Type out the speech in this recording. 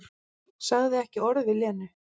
Sagði ekki orð við Lenu.